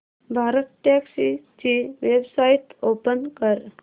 भारतटॅक्सी ची website open कर